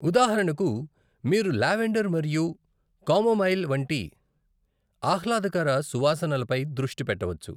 ఉదాహరణకు, మీరు లావెండర్ మరియు కామోమైల్ వంటి ఆహ్లాదకర సువాసనలపై దృష్టి పెట్టవచ్చు.